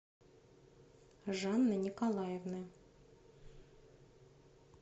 жанны николаевны